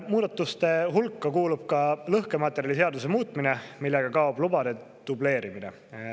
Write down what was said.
Muudatuste hulka kuulub ka lõhkematerjaliseaduse muutmine, millega kaob lubade dubleerimine.